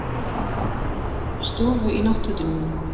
Ég man að ég kom upp í stofu í náttfötunum mínum.